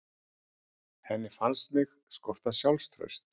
Henni fannst mig skorta sjálfstraust.